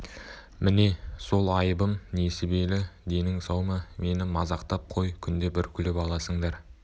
міне сол айыбым несібелі денің сау ма мені мазақтап қой күнде бір күліп аласыңдар